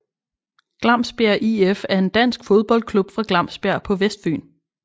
Glamsbjerg IF er en dansk fodboldklub fra Glamsbjerg på Vestfyn